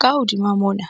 Ka hodima mona,